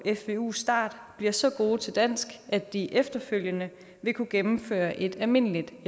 fvu start bliver så gode til dansk at de efterfølgende vil kunne gennemføre et almindeligt